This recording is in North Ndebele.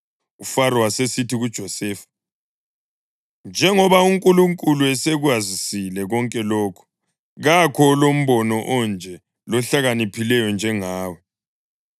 UFaro wasesithi kuJosefa, “Njengoba uNkulunkulu esekwazisile konke lokhu, kakho olombono onje lohlakaniphileyo njengawe.